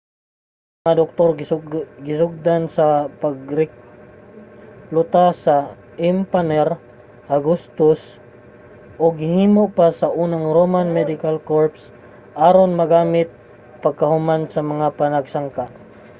ang mga doktor gisugdan sa pagrekluta ni emapanr augustus ug gihimo pa ang unang roman medical corps aron magamit pagkahuman sa mga panagsangka